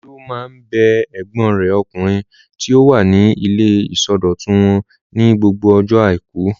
Olú máa ń bẹ ẹ̀gbọ́n rẹ̀ ọkùnrin tí ó wà ní ilé ìsọdọ̀tun wò ní gbogbo ọjọ́ àìkú.